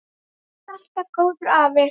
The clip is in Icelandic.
Þú varst alltaf góður afi.